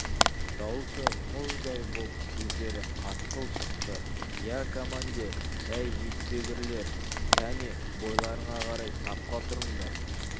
даусы мұздай боп сөздері қатқыл шықты иа командир әй жетпегірлер кәне бойларыңа қарай сапқа тұрыңдар